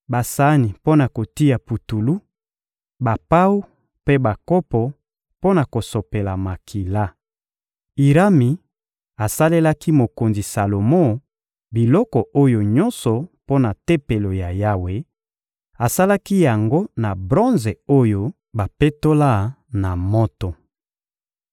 basani mpo na kotia putulu, bapawu mpe bakopo mpo na kosopela makila. Irami asalelaki mokonzi Salomo biloko oyo nyonso mpo na Tempelo ya Yawe; asalaki yango na bronze oyo bapetola na moto.